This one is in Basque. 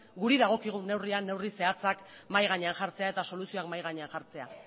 guri dagokigun neurri zehatzak mahai gainean jartzea eta soluzioak mahai gainean jartzea